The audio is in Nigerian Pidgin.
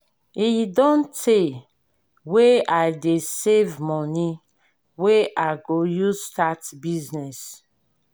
e don tey wey i dey save money wey i go use start business